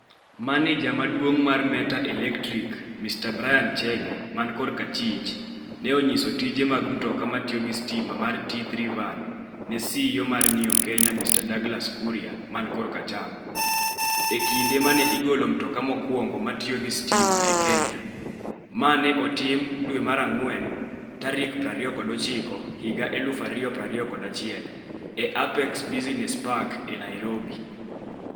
Maneja maduong' mar Meta Electric Mr Brian Chege (R), ne onyiso tije mag mtoka ma tiyo gi stima mar T3 Van ne CEO mar Neo Kenya Mr Douglas Kuria (L) e kinde ma ne igolo mtoka mokwongo ma tiyo gi stima e Kenya ma ne otim April 29, 2021, e Apex Business Park e Nairobi.